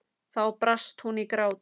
Þá brast hún í grát.